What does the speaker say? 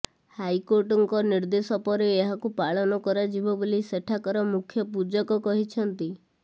ହାଇକୋର୍ଟଙ୍କ ନିର୍ଦ୍ଦେଶ ପରେ ଏହାକୁ ପାଳନ କରାଯିବ ବୋଲି ସେଠାକାର ମୁଖ୍ୟ ପୂଜକ କହିଛନ୍ତି